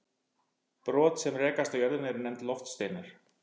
Brot sem rekast á jörðina eru nefnd loftsteinar.